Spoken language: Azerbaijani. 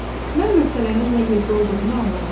Mən məsələnin nə yerdə olduğunu anladım.